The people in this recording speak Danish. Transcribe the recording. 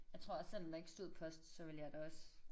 Jeg tror også selvom der ikke stod post så ville jeg da også